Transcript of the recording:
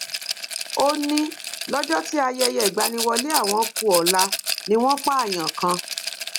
ó ní lọjọ tí ayẹyẹ ìgbaniwọlẹ àwọn ku ọla ni wọn pààyàn kan